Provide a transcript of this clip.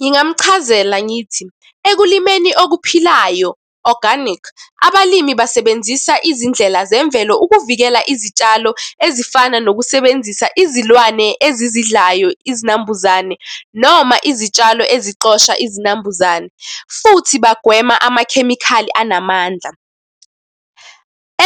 Ngingamuchazela ngithi, ekulimeni okuphilayo, organic, abalimi basebenzisa izindlela zemvelo ukuvikela izitshalo ezifana nokusebenzisa izilwane ezizidlayo izinambuzane, noma izitshalo ezixosha izinambuzane, futhi bagwema amakhemikhali anamandla.